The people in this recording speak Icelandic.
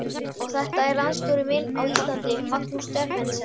Og þetta er landsstjóri minn á Íslandi, Magnús Stephensen.